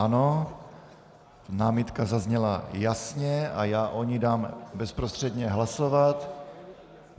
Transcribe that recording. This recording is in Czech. Ano, námitka zazněla jasně a já o ní dám bezprostředně hlasovat.